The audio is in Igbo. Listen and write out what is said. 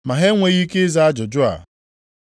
Ma ha enweghị ike ịza ajụjụ a.